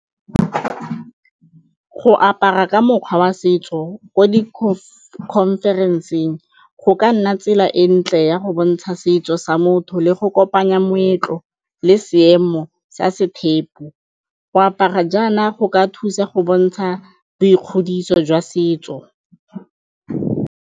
Go apara ka mokgwa wa setso ko di conference-eng go ka nna tsela e ntle ya go bontsha setso sa motho le go kopanya moetlo le seemo sa se . Go apara jaana go ka thusa go bontsha boikgodiso jwa setso.